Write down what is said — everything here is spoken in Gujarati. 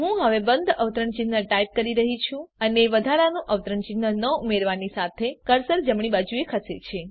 હું હવે બંધ અવતરણ ચિહ્ન ટાઈપ કરી રહ્યી છું અને વધારાનું અવતરણ ચિહ્ન ન ઉમેરવાની સાથે કર્સર જમણી બાજુ ખસે છે